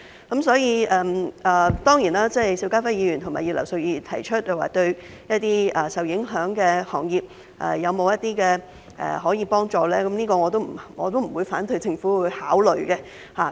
當然，對於邵家輝議員和葉劉淑儀議員提出向受影響行業提供幫助的建議，我並不反對政府考慮。